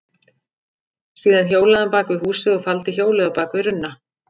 Síðan hjólaði hann bak við húsið og faldi hjólið á bak við runna.